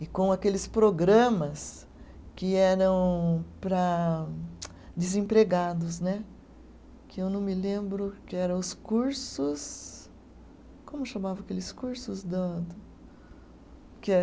e com aqueles programas que eram para, tsc desempregados né, que eu não me lembro que era os cursos. Como chamavam aqueles cursos da da? Que é